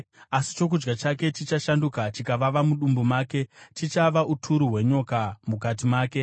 asi chokudya chake chichashanduka chikavava mudumbu make; chichava uturu hwenyoka mukati make.